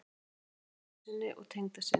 Þakkar dóttur sinni og tengdasyni